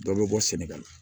Dɔ bɛ bɔ sɛnɛgali